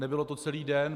Nebylo to celý den.